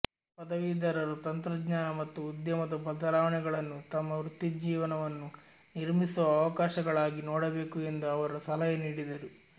ಪದವೀಧರರು ತಂತ್ರಜ್ಞಾನ ಮತ್ತು ಉದ್ಯಮದ ಬದಲಾವಣೆಗಳನ್ನು ತಮ್ಮ ವೃತ್ತಿಜೀವನವನ್ನು ನಿರ್ಮಿಸುವ ಅವಕಾಶಗಳಾಗಿ ನೋಡಬೇಕು ಎಂದು ಅವರು ಸಲಹೆ ನೀಡಿದರು